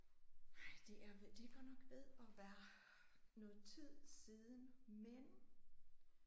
Nej det er det er godt nok ved at være noget tid siden men